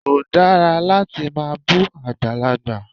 Kò dára láti máa bú àgbàlagbà.